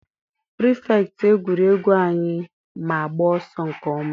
pirifektị egwuregwu anyị ma agba ọsọ nke ọma.